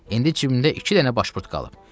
İndi cibimdə iki dənə başburt qalıb.